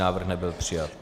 Návrh nebyl přijat.